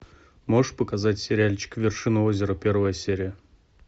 можешь показать сериальчик вершина озера первая серия